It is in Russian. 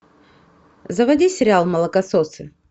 заводи сериал молокососы